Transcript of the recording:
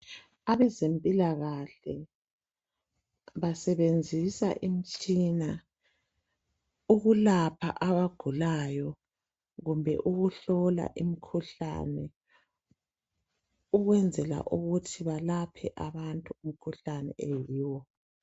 Abezempilakahle basebenzisa imitshina ukulapha abagulayo kumbe ukuhlola imikhuhlane. Ukwenzela ukuthi balaphe abantu umkhuhlane oyiwo.